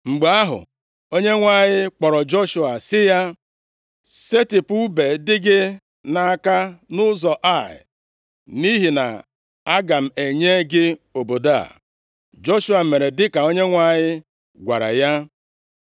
Mgbe ahụ, Onyenwe anyị kpọrọ Joshua sị ya, “Setịpụ ùbe dị gị nʼaka nʼụzọ Ai, nʼihi na aga m enye gị obodo a.” Joshua mere dịka Onyenwe anyị gwara ya.